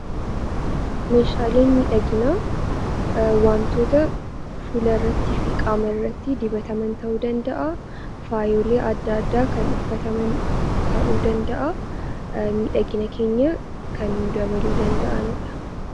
Meeshaaleen miidhaginaa wantoota fuula irrattii fi qaama irratti dibataman ta'uu danda'a. Faayolee adda addaa kan uffataman ta'uu danda'a. Faayolee keenya kan nuuf dabaluu danda'anidha.